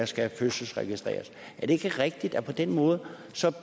skal fødselsregistreres er det ikke rigtigt at på den måde